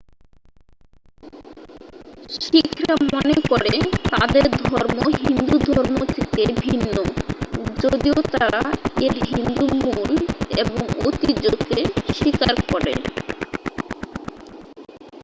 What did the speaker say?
শিখরা মনে করে তাদের ধর্ম হিন্দু ধর্ম থেকে ভিন্ন যদিও তারা এর হিন্দু মূল এবং ঐতিহ্যকে স্বীকার করে